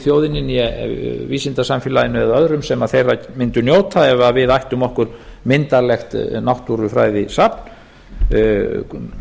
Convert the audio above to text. þjóðinni né vísindasamfélaginu eða öðrum sem þeirra mundu njóta ef við ættum okkur myndarlegt náttúrufræðisafn frá